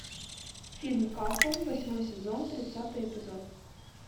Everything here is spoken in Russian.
фильм касл восьмой сезон тридцатый эпизод